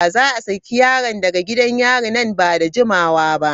Za a saki yaron daga gidan yari nan ba da jimawa ba.